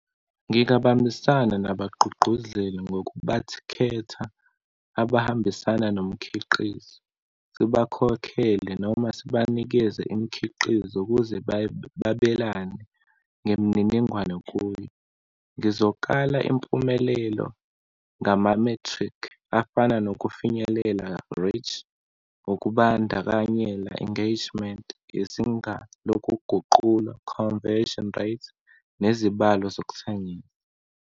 Ngingabambisana nabagqugquzeli ngokubakhetha, abahambisana nomkhiqizo, sibakhokhele noma sibanikeze imikhiqizo ukuze babelane ngemininingwane kuyo. Ngizokala impumelelo ngamamethrikhi afana nokufinyelela, reach, ukubandakanyela, engagement, izinga lokuguqulwa, conversion rate, nezibalo zokuthengisa.